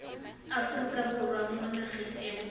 aforika borwa mo nageng eo